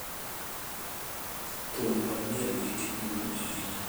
thum kod miel nigi tich maduong' ahinya